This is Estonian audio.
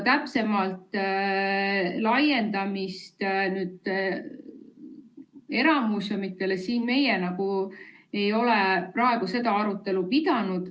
Nõude laiendamist eramuuseumidele meie ei ole praegu arutanud.